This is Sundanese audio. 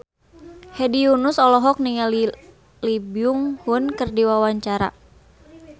Hedi Yunus olohok ningali Lee Byung Hun keur diwawancara